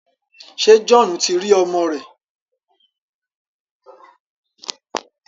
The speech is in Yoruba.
Ṣé Johnu ti rí ọmọ rẹ̀?